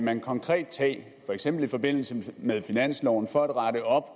man konkret tage for eksempel i forbindelse med finansloven for at rette op